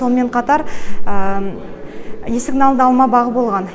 сонымен қатар есігінің алдында алма бағы болған